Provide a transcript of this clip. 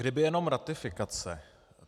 Kdyby jenom ratifikace.